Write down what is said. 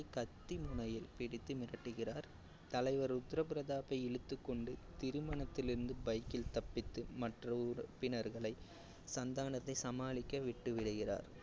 கத்தி முனையில் மிரட்டுகிறார். தலைவர் ருத்ர பிரதாப்பை இழுத்து கொண்டு திருமணத்திலிருந்து bike ல் தப்பித்து மற்ற உறுப்பினர்களை சந்தானத்தை சமாலிக்க விட்டுவிடுகிறார்.